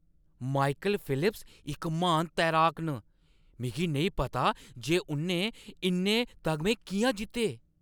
Michael Phelps इक म्हान तैराक न। मिगी नेईं पता जे उʼनें इन्ने तगमे किʼयां जित्ते!